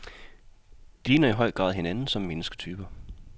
De ligner i høj grad hinanden som mennesketyper.